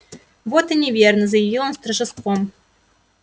вот и неверно заявил он с торжеством